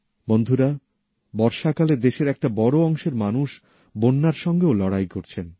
বন্ধুরা বর্ষাকালে দেশের একটা বড় অংশের মানুষ বন্যার সঙ্গেও লড়াই করছেন